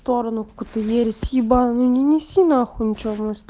коктейли с ебанный не неси на х ничего